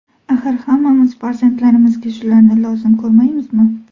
Axir hammamiz farzandlarimizga shularni lozim ko‘rmaymizmi?